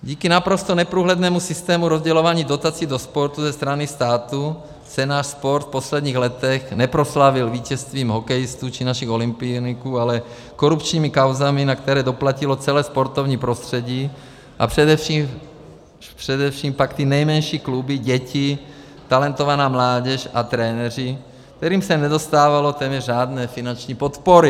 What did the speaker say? Díky naprosto neprůhlednému systému rozdělování dotací do sportu ze strany státu se náš sport v posledních letech neproslavil vítězstvím hokejistů či našich olympioniků, ale korupčními kauzami, na které doplatilo celé sportovní prostředí, a především pak ty nejmenší kluby, děti, talentovaná mládež a trenéři, kterým se nedostávalo téměř žádné finanční podpory.